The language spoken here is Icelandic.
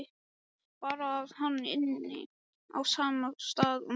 Bara að hann ynni á sama stað og mamma.